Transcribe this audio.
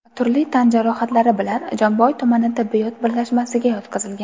turli tan jarohatlari bilan Jomboy tumani tibbiyot birlashmasiga yotqizilgan.